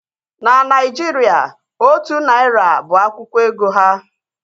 Na Naịjirịa, otu narị naira bụ akwụkwọ ego ha